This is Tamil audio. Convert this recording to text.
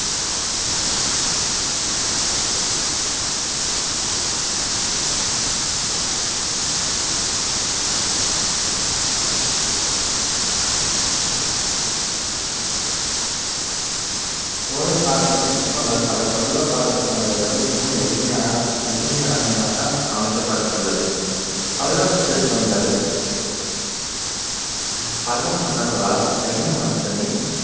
சோழர் காலத்தில் சிற்பங்கள் பல பல்லவர் கால சிற்பங்களை விட மிகவும் எளிமையான~ எளிமையானதாக அமைக்கப்பட்டுள்ளது. பல்லவ சிற்பங்கள் பல்லவ மன்னர்களால் ஜைன மதத்தினை